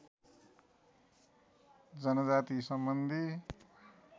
जनजातिसम्बन्धी